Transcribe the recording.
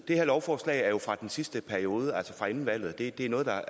det her lovforslag er jo fra den sidste periode altså fra inden valget og det er noget der